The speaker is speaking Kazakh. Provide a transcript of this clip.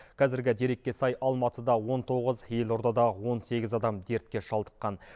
қазіргі дерекке сай алматыда он тоғыз елордада он сегіз адам дертке шалдыққан